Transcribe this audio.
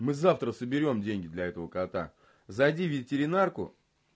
мы завтра соберём деньги для этого кота зайди в ветеринарку